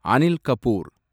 Anil Kapoor